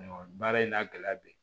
baara in n'a gɛlɛya bɛ yen